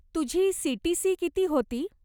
तुझी सीटीसी किती होती?